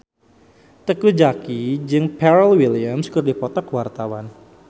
Teuku Zacky jeung Pharrell Williams keur dipoto ku wartawan